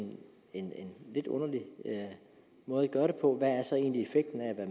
en lidt underlig måde at gøre det på hvad er så egentlig effekten af at